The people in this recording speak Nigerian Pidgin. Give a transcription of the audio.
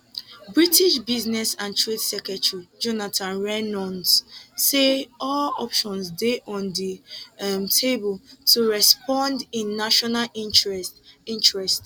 british business and trade secretary jonathan reynolds say all options dey on di um table to respond in national interest interest